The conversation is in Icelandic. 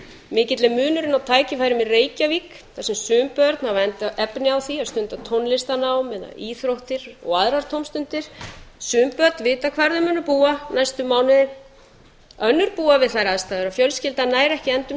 mikill er munurinn á tækifærum í reykjavík þar sem sum börn hafa efni á því að stunda tónlistarnám eða íþróttir og aðrar tómstundir sum börn vita hvar þau munu búa næstu mánuði önnur búa við þær aðstæður að fjölskyldan nær ekki endum